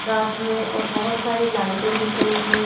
रात में और बहुत सारी लाइटिंग दिख रही है।